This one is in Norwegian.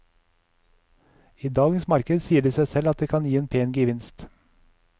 I dagens marked sier det seg selv at det kan gi en pen gevinst.